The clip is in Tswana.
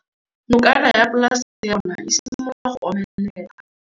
Nokana ya polase ya bona, e simolola go omelela.